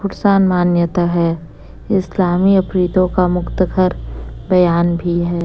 मान्यता है इस्लामी आफरीदों का मुक्तखर बयान भी है।